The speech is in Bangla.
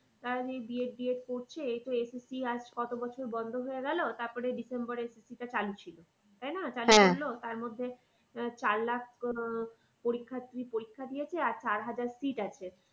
তারা যে এই B ed, D edit করছে এই তো SSC আজ কত বছর বন্ধ হয়ে গেলো তারপরে december এ SSC টা চালু ছিল। তাই না তার মধ্যে আহ চার লাখ আহ পরীক্ষার্থী পরিক্ষা দিয়েছে আর চার হাজার seat আছে